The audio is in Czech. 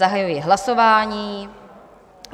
Zahajuji hlasování.